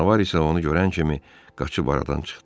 Canavar isə onu görən kimi qaçıb aradan çıxdı.